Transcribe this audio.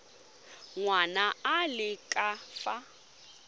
ngwana a le ka fa